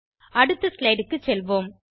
அடுத்த ஸ்லைடு க்கு செல்வோம்